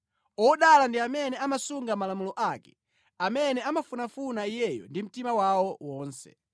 Odala ndi amene amasunga malamulo ake, amene amafunafuna Iyeyo ndi mtima wawo wonse.